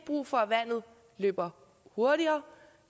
brug for at vandet løber hurtigere